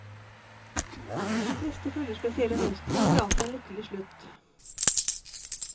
De fleste følger spesielle mønstre og har alltid en lykkelig slutt.